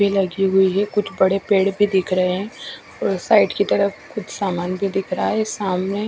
लगी हुई है कुछ बड़े पेड़ भी दिख रहे है और साइड की तरफ कुछ सामान भी दिख रहा है सामने--